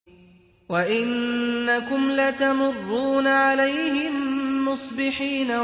وَإِنَّكُمْ لَتَمُرُّونَ عَلَيْهِم مُّصْبِحِينَ